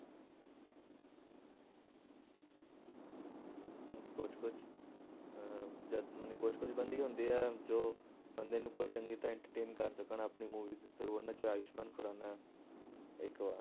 ਹਮ ਕੁਛ ਕੁਛ ਅਹ ਜਦ ਮਨੇ ਕੁਛ ਕੁਛ ਬੰਦੇ ਹੀ ਹੁੰਦੇ ਆ, ਜੋ ਬੰਦੇ ਨੂੰ ਪੂਰਾ ਚੰਗੀ ਤਰ੍ਹਾਂ entertain ਕਰ ਸਕਣ ਆਪਣੀ movie ਦੇ through ਉਹਨਾਂ 'ਚ ਆਯੁਸਮਾਨ ਖੁਰਾਨਾ ਇੱਕ ਵਾ।